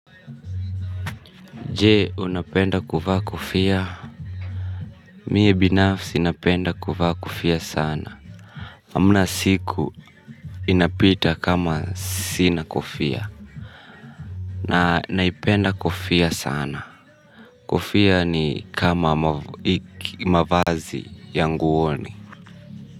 Je, unapenda kuvaa kofia? Mie binafsi, napenda kuvaa kofia sana. Hamna siku inapita kama sina kofia. Na naipenda kofia sana. Kofia ni kama mavazi ya nguoni.